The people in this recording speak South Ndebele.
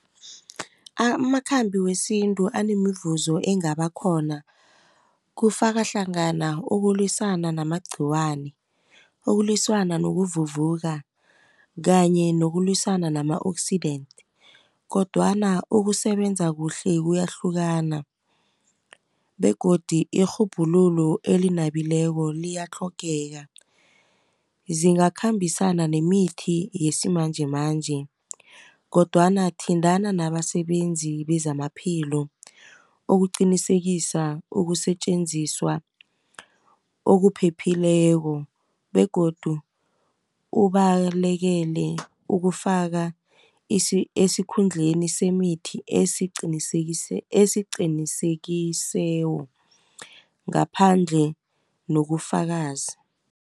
Amakhambi wesintu anemivuzo engabakhona kufaka hlangana, ukulwisana namagqhiwane, ukulwisana nakuvuvuka. Kanye nokulwisana nama-oxidant, kodwana ukusebenza kuhle kuyahlukana, begodu irhubhululo elinabileko liyatlhogeka. Zingakhambisana nemithi yesimanjemanje, kodwana thintana nabasebenzi bezamaphilo, ukuqinisekisa ukusetjenziswa okuphephileko, begodu ubalekele ukufaka esikhundleni sinemithi esiqinekisewo ngaphandle nokufakazi.